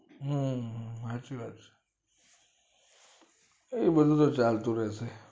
હમ હાચી વાત છે એતો બધું તો ચાલતું રે સે